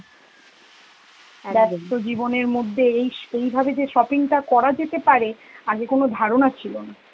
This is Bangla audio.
ব্যস্ত জীবনের মধ্যে এইস~ এইভাবে যে shopping টা করা যেতে পারে, আগে কোন ধারণা ছিল না.